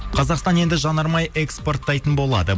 қазақстан енді жанармай экспорттайтын болады